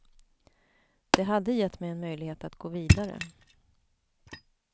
Det hade gett mig en möjlighet att gå vidare.